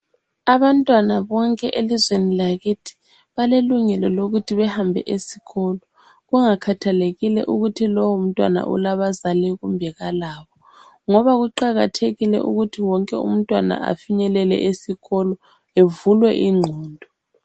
Abantwana bonke elizweni lakithi balelungelo lokuthi bahambe esikolo kungakhathalekile ukuthi lowo mntwana ulabazali kumbe kalabo, ngoba kuqakathekile ukuthi wonke umntwana afinyelele esikolo evulwe ingqondo.